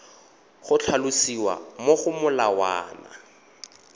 go tlhalosiwa mo go molawana